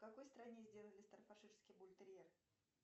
в какой стране сделали стаффордширский бультерьер